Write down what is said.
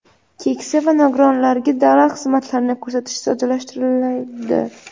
keksa va nogironlarga davlat xizmatlarini ko‘rsatish soddalashtiriladi.